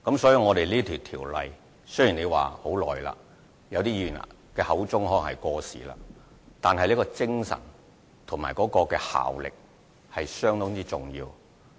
雖然《賭博條例》在很多年前制定，部分議員亦認為已經過時，但其精神和效力是相當重要的。